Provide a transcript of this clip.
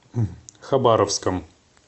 хабаровском